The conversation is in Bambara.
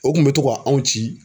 O kun br to ka anw ci